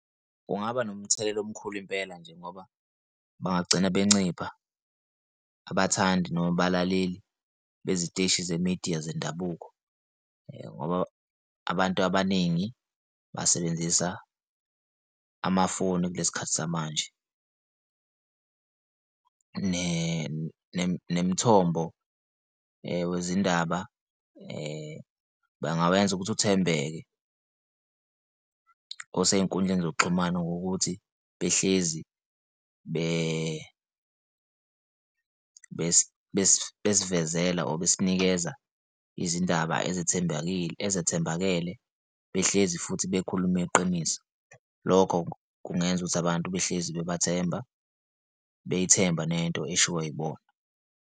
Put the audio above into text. Kungaba nomthelela omkhulu impela nje ngoba bangagcina bencinda abathandi noma abalaleli beziteshi ze-media zendabuko, ngoba abantu abaningi basebenzisa amafoni kulesi khathi samanje. Nemithombo wezindaba bangawenza ukuthi uthembeke osey'nkundleni zokuxhumana ngokuthi behlezi besivezele, or besinikeza izindaba ezethembakile ezathembakele, behlezi futhi bekhulume iqiniso. Lokho kungenza ukuthi abantu behlezi bebathemba, beyithembe nento eshiwo yibona.